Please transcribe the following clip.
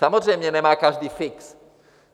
Samozřejmě nemá každý fix.